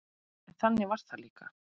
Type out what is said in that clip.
En þannig var það líka.